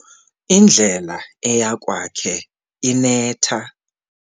Indlela eya kwakhe inetha.